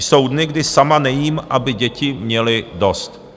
Jsou dny, kdy sama nejím, aby děti měly dost."